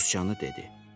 Susqanı dedi.